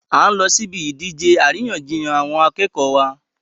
A n lọ sí ibi ìdíje àríyànjiyàn àwọn akẹ́kọ̀ọ́ wa